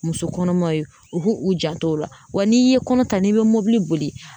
Muso kɔnɔmaw ye u k'u u janto o la wa n'i ye kɔnɔ ta n'i bɛ mobili boli